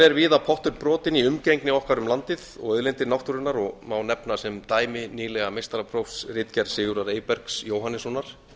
er víða pottur brotinn í umgengni okkar um landið og auðlindir náttúrunnar og má nefna sem dæmi nýlega meistaraprófsritgerð sigurðar eybergs jóhannessonar